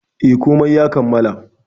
E, komai ya kammala.